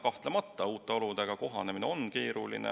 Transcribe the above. Kahtlemata, uute oludega kohanemine ongi keeruline.